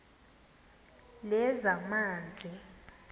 lezamanzi